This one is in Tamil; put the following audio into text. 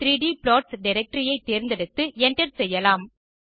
2d 3d plots டைரக்டரி ஐ தேர்ந்தெடுத்து enter செய்யலாம்